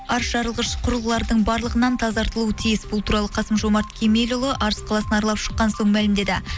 арыс жарылғыш құрылғылардың барлығынан тазартылуы тиіс бұл туралы қасым жомарт кемелұлы арыс қаласын аралап шыққан соң мәлімдеді